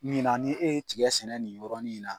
Ɲina ni e ye tiga sɛnɛ nin yɔrɔnin in na.